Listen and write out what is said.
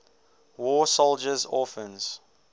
war soldiers orphans